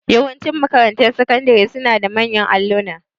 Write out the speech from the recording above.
Yawanci makarantun sakandari suna da manyan alluna.